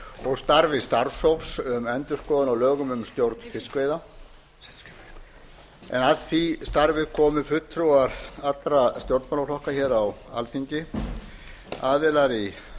og starfi starfshóps um endurskoðun á lögum um stjórn fiskveiða en að því starfi komu fulltrúar alla stjórnmálaflokka á alþingi aðilar í